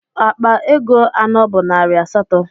Akpa ego anọ bu nari asatọ.